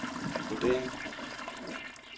vurdering